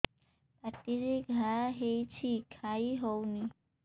ପାଟିରେ ଘା ହେଇଛି ଖାଇ ହଉନି